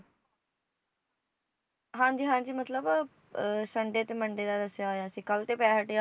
ਹਾਂ ਜੀ ਹਾਂ ਜੀ ਮਤਲਬ ਅਹ sunday ਤੇ monday ਦਾ ਦੱਸੀਆ ਹੋਈਆ ਸੀ ਕੱਲ ਤੇ ਪੈ ਹਟਿਆ